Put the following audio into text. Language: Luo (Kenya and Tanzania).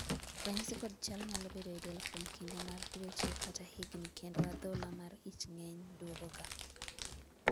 ranyisi kod chal nyalo bedo e del kuom kinde mar dweche kata higni kendo adhola mar ich ng'enye duogo ga